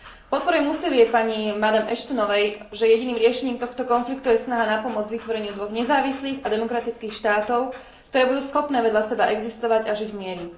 Podporujem úsilie pani Ashtonovej, že jediným riešením tohto konfliktu je snaha napomôcť k vytvoreniu dvoch nezávislých a demokratických štátov, ktoré budú schopné vedľa seba existovať a žiť v mieri.